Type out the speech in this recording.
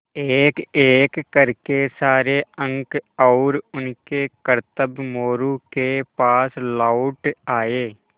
एकएक कर के सारे अंक और उनके करतब मोरू के पास लौट आये